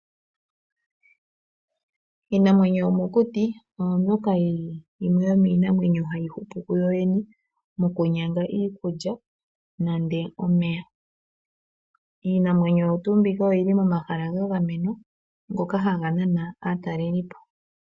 Iinima yomokuti oyo mbyoka yili yimwe yomiinamwenyo hayi hupu kuyo yene, mokunyanga iikulya, nenge omeya. Iinamwenyo oyo tuu mbika oyili momahala ga gamenwa, ngoka haga nana aatalelipo.